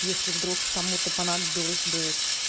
если вдруг кому-то понадобилось бы